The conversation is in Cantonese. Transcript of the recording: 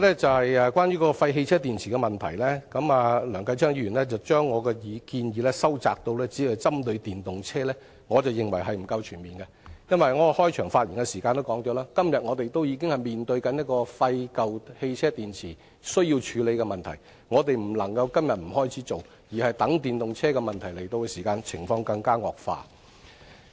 此外，關於廢汽車電池的問題，梁繼昌議員將我的建議收窄至只針對電動車，但我認為不夠全面，因為我在開場發言時已指出，我們今天已經面對廢舊汽車電池需要處理的問題，我們若不在今天開始處理，而是待電動車產生問題時才處理，情況只會更為惡化。